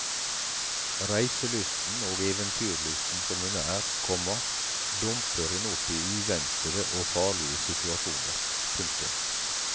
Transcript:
Reiselysten og eventyrlysten som hun er, komma dumper hun opp i uventede og farlige situasjoner. punktum